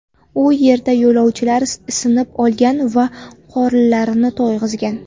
U yerda yo‘lovchilar isinib olgan va qorinlarini to‘yg‘izgan.